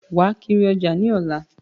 Wàá kiri ọjà mi lọ́la